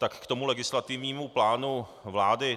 Tak k tomu legislativnímu plánu vlády.